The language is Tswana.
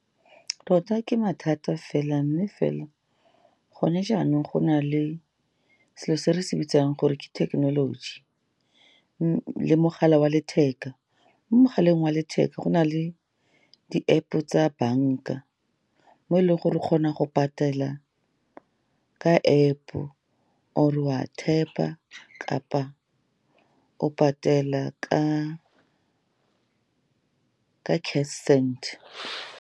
Tota ke mathata fela, mme fela gone jaanong, go na le selo se re se bitsang gore ke technology le mogala wa letheka, mo mogaleng wa letheka, go na le di-App-o tsa banka, mo eleng gore o kgona go patela ka App-o, or-e o a tap-a, kapa o patela ke Cash Send.